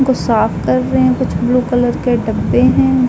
साफ कर रहे हैं। कुछ ब्लू कलर के डब्बे हैं।